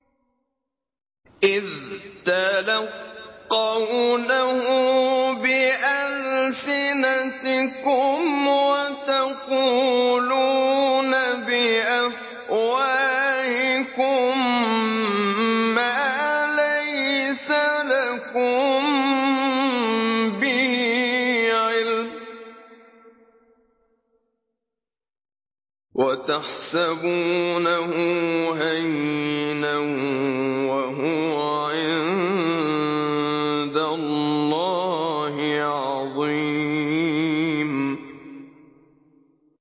إِذْ تَلَقَّوْنَهُ بِأَلْسِنَتِكُمْ وَتَقُولُونَ بِأَفْوَاهِكُم مَّا لَيْسَ لَكُم بِهِ عِلْمٌ وَتَحْسَبُونَهُ هَيِّنًا وَهُوَ عِندَ اللَّهِ عَظِيمٌ